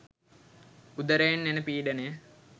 උදරයෙන් එන පීඩනය